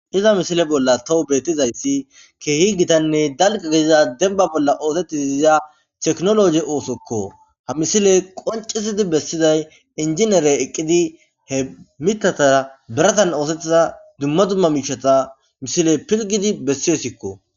iza misile bolla tawu betizayssi keehi gitanne dalq deiza denba bolla oosettizi iza teknologe oosokko ha misile qoncisidi bessizay injinere eqqidi he mittataa beratan oosettiza dumma dumma miicshata misile pilgidi bessiyosikko